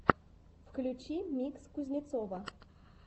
включи микс кузнецова